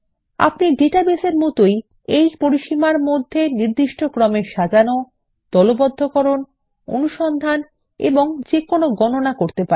আপনিডাটাবেসের মতনই এই পরিসীমার মধ্যে নির্দিষ্ট ক্রমে সাজানো দলবদ্ধকরণ অনুসন্ধান এবং যেকোনো গণনা করতে পারেন